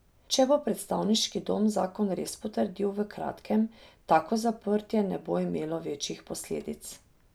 Če bo predstavniški dom zakon res potrdil v kratkem, tako zaprtje ne bo imelo večjih posledic.